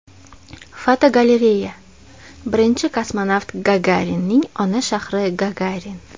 Fotogalereya: Birinchi kosmonavt Gagarinning ona shahri Gagarin.